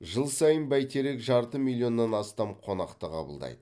жыл сайын бәйтерек жарты миллионнан астам қонақты қабылдайды